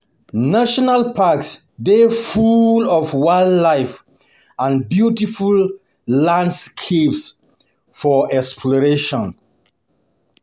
National parks dey full of wildlife and beautiful landscapes for exploration.